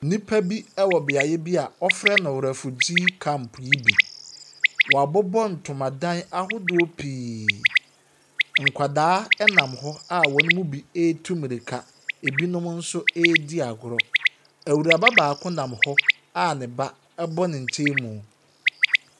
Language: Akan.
Nnipa bi wɔ beaeɛ bi a wɔfrɛ no refugee camp yi bi. Wɔabobɔ ntomadan ahodoɔ pii. Nkwadaa nam hɔ a wɔn mu bi retu mmirika. Ebinom nso redi agorɔ. Awuraba baako nam hɔ a ne ba bɔ ne nkyɛn mu.